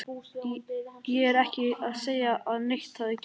Ég er ekki að segja að neitt hafi gerst.